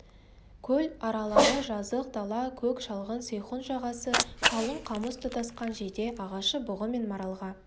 көл аралары жазық дала көк шалғын сейхун жағасы қалың қамыс тұтасқан жиде ағашы бұғы мен маралға